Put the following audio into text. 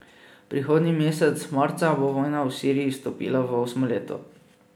Prihodnji mesec, marca, bo vojna v Siriji vstopila v osmo leto.